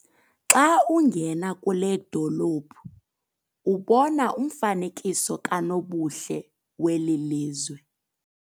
Xa ungena kule dolophu ubona umfanekiso kanobuhle weli lizwe.